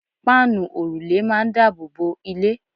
páànù òrùlé máà ń daboobo ilé